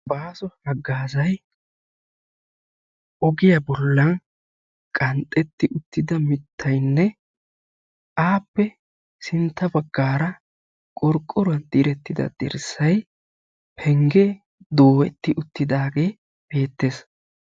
Baaso hagaazay ogiyaa bollan qanxxeti uttida mittaynne appe sintta bagaara qorqoruwan diretti uttida dirssay penggen dooretidi uttidaagee beettees.